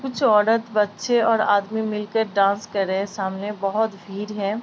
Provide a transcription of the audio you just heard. कुछ औरत बच्चे और आदमी मिलके डांस कर रहे हैं। सामने बहोत भीर है।